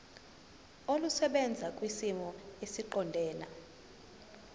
olusebenza kwisimo esiqondena